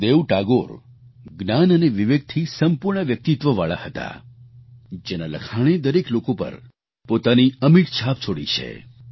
ગુરુદેવ ટાગોર જ્ઞાન અને વિવેકથી સંપૂર્ણ વ્યક્તિત્વવાળા હતા જેના લખાણે દરેક લોકો પર પોતાની અમિટ છાપ છોડી છે